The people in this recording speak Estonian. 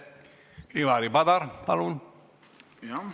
Ivari Padar, palun!